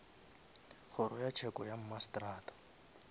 kgoro ya tsheko ya mmasetrata